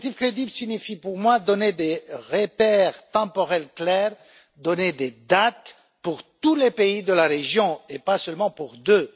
Une perspective crédible signifie pour moi donner des repères temporels clairs ainsi que des dates pour tous les pays de la région et pas seulement pour deux.